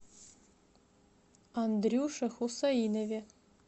андрюше хусаинове